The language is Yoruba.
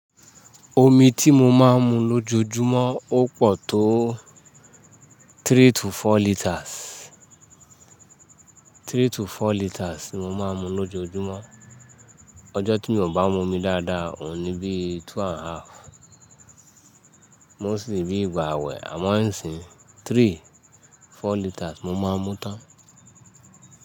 Omi tí mo máa ń mu lójoojúmọ́ ó pọ̀ tó three to four litres. Three to four litres ni mo máa ń mu lójoojúmọ́. Ọjọ́ tí mi ò bá mu omi dáadáa ò ní bíi two and half. Mo sì rí ìgbà àwẹ̀ àmọ́ ẹ́ sìn three, four litres mo máa ń mu tán.